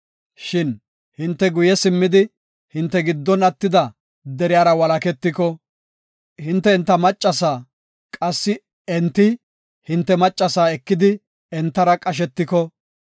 Shin hinte guye simmidi, hinte giddon attida deriyara walaketiko, hinte enta maccasa, qassi enti hinte maccasa ekidi entara qashetiko,